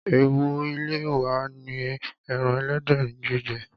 Èwò ilé wa ni ẹran ẹlẹ́dẹ̀ ní jíjẹ.